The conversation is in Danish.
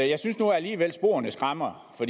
jeg synes nu alligevel at sporene skræmmer for